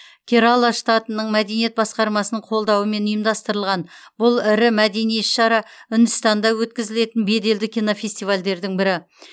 керала штатының мәдениет басқармасының қолдауымен ұйымдастырылған бұл ірі мәдени іс шара үндістанда өткізілетін беделді кинофестивальдердің бірі